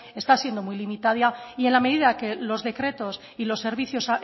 está siendo muy limitada y en la medida que los decretos y los servicios